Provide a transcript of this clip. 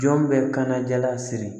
Jɔn bɛ kana jala siri